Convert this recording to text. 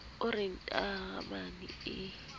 o re ntaramane ee ya